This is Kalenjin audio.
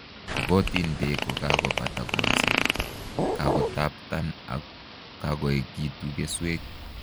Makotin beek ko kakobata kolseet, kokataptan ak koekitu keswek